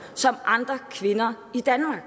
som andre kvinder i danmark